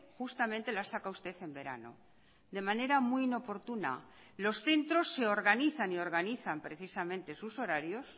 justamente la saca usted en verano de manera muy inoportuna los centros se organizan y organizan precisamente sus horarios